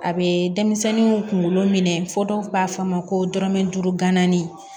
A bɛ denmisɛnninw kunkolo minɛ fo dɔw b'a fɔ a ma ko dɔrɔmɛ duuru ganganani